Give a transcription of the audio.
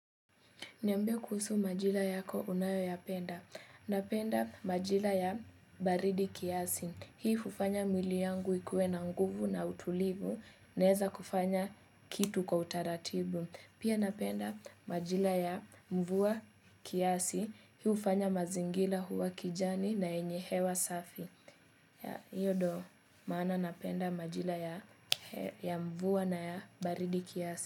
Niambie kuhusu majira yako unayoyapenda. Napenda majira ya baridi kiasi hii hufanya mwili yangu ikuwe na nguvu na utulivu. Naeza kufanya kitu kwa utaratibu. Pia napenda majira ya mvua kiasi. Hii hufanya mazingira huwa kijani na yenye hewa safi. Ya, hiyo ndo. Maana napenda majira ya mvua na ya baridi kiasi.